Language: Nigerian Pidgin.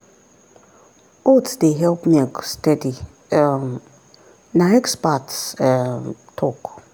oats dey help milk steady um na expert um talk.